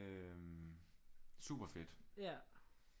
Øh super fedt